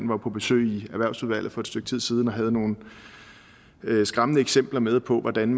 var på besøg i erhvervsudvalget for et stykke tid siden og havde nogle skræmmende eksempler med på hvordan